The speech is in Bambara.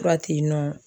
Fura tɛ yen nɔ